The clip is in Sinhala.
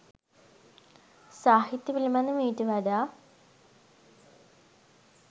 සාහිත්‍ය පිළිබඳ මීට වඩා